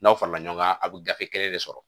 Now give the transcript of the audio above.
N'aw farala ɲɔgɔn kan a bɛ gafe kelen de sɔrɔ